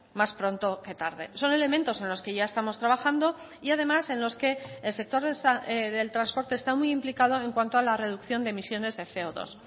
más pronto que tarde son elementos en los que ya estamos trabajando y además en los que el sector del transporte está muy implicado en cuanto a la reducción de emisiones de ce o dos